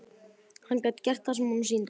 Hann gat gert það sem honum sýndist.